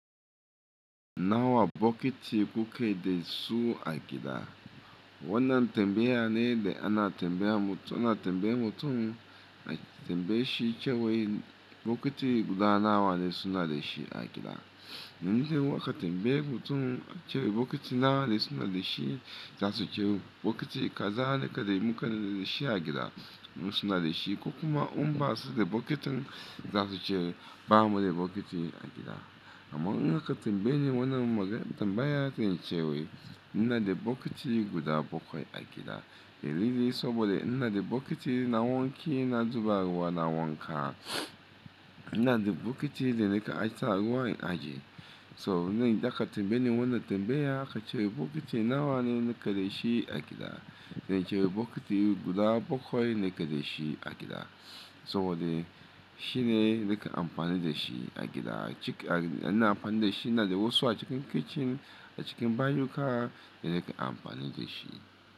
Nawa bokiti kuke dai su a gida? Wannan tambaya ne da ana tambaya mutum, ana tambaye mutum na tambaye shi cewa bokiti guda nawa ne suna da shi a gida. Nan da yawa ka tambaye mutum cewa bokiti nawa ne suna da shi, za su ce bokiti kaza ne ka dai mu ka da shi a gida. Wasu na da shi ko kuma umba su da bokitin za su ce ba mu da bokiti a gida. Amma in ka tambayi wannan tambaya sai in ce wai ina da bokiti guda bakwai a gida. Dalili saboda ina da bokiti na wanki, na zuba ruwa, na wanka. Ina da bokiti da na ka ajiye sa ruwa in ajiye. So nan da ka tambaye ni wannan tambaya ka ce bokiti nawa ne nake dashi a gida, xance bokiti guda bakwai nake da shi a gida. Saboda shine na ka amfani da shi a gida. Cik-- ana amfani da shi, ina da wasu a cikin kitchen, a cikin banɗuka da na ka amfani da shi.